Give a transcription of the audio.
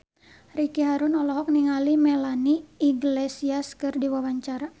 Ricky Harun olohok ningali Melanie Iglesias keur diwawancara